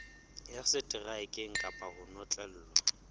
ya seteraeke kapa ho notlellwa